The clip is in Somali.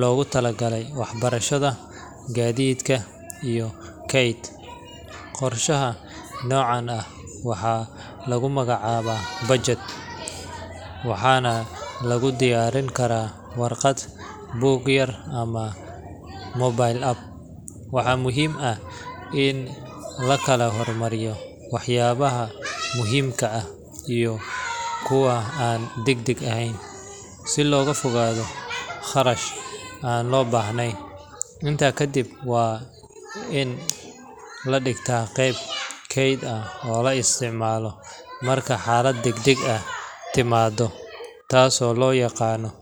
loogu talagalay waxbarashada, gaadiidka, iyo kayd. Qorshaha noocan ah waxaa lagu magacaabaa budget, waxaana lagu diyaarin karaa warqad, buug yar, ama mobile app. Waxaa muhiim ah in la kala hormariyo waxyaabaha muhiimka ah iyo kuwa aan degdeg ahayn, si looga fogaado kharash aan loo baahnayn. Intaa ka dib, waa in la dhigtaa qeyb kayd ah oo la isticmaalo marka xaalad degdeg ahi timaado, taasoo loo yaqaanno.